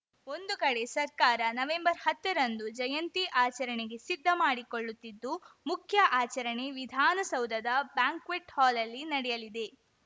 ಒಂದು ಕಡೆ ಸರ್ಕಾರ ನವೆಂಬರ್ಹತ್ತರಂದು ಜಯಂತಿ ಆಚರಣೆಗೆ ಸಿದ್ಧ ಮಾಡಿಕೊಳ್ಳುತ್ತಿದ್ದು ಮುಖ್ಯ ಆಚರಣೆ ವಿಧಾನಸೌಧದ ಬ್ಯಾಂಕ್ವೆಟ್‌ ಹಾಲ್‌ಲ್ಲಿ ನಡೆಯಲಿದೆ